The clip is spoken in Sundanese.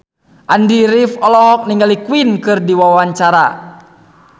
Andy rif olohok ningali Queen keur diwawancara